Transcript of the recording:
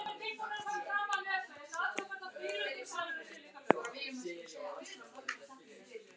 Hvernig fannstu hann? spurði Lalli hrifinn.